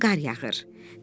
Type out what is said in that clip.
Möhkəm qar yağır.